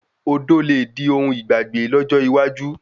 Odò le di ohun ìgbàgbé lọ́jọ́ iwájú